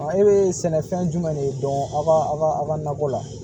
E bɛ sɛnɛfɛn jumɛn de dɔn aw ka aw ka nakɔ la